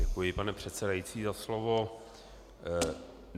Děkuji, pane předsedající, za slovo.